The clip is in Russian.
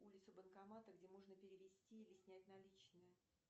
улица банкомата где можно перевести или снять наличные